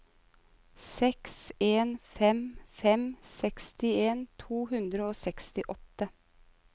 seks en fem fem sekstien to hundre og sekstiåtte